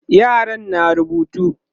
yaran na rubutu